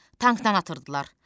Tankdan atırdılar.